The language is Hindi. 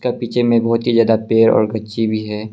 पीछे में बहुत ही ज्यादा पेड़ और गच्ची भी है।